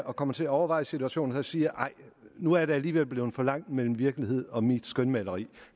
og kommer til at overveje situationen siger nej nu er der alligevel blevet for langt mellem virkeligheden og mit skønmaleri